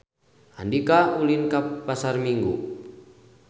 Andika ulin ka Pasar Minggu